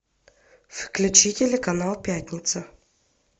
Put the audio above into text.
включи телеканал пятница